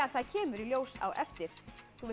það kemur í ljós á eftir þú vilt